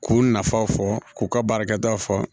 K'u nafaw fɔ k'u ka baarakɛtaw fɔ